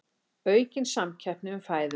Aukin samkeppni um fæðuna